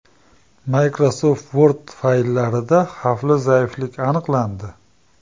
Microsoft Word fayllarida xavfli zaiflik aniqlandi.